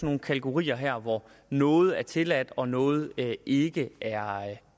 nogle kategorier her hvor noget er tilladt og noget ikke er